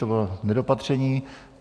To bylo nedopatření.